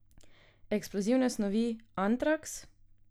Eksplozivne snovi, antraks?